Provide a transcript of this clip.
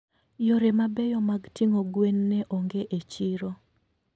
Yore mabeyo mag ting'o gwen ne onge e chiro.